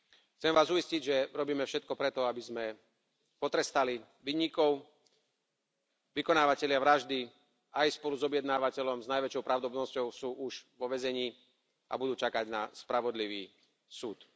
Chcem vás uistiť, že robíme všetko pre to aby sme potrestali vinníkov, vykonávatelia vraždy aj spolu s objednávateľom sú s najväčšou pravdepodobnosťou už vo väzení a budú čakať na spravodlivý súd.